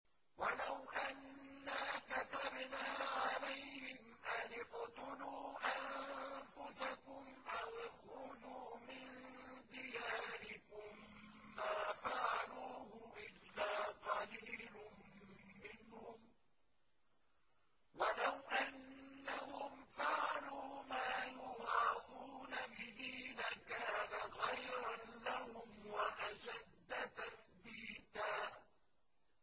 وَلَوْ أَنَّا كَتَبْنَا عَلَيْهِمْ أَنِ اقْتُلُوا أَنفُسَكُمْ أَوِ اخْرُجُوا مِن دِيَارِكُم مَّا فَعَلُوهُ إِلَّا قَلِيلٌ مِّنْهُمْ ۖ وَلَوْ أَنَّهُمْ فَعَلُوا مَا يُوعَظُونَ بِهِ لَكَانَ خَيْرًا لَّهُمْ وَأَشَدَّ تَثْبِيتًا